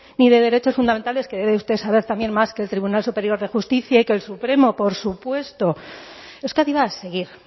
ni de derechos fundamentales que debe usted saber también más que el tribunal superior de justicia y que el supremo por supuesto euskadi va a seguir